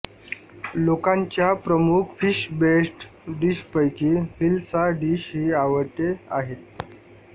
लोकांच्या प्रमुख fish based डिशपैकी हिलसा डिश ही आवडते आहेत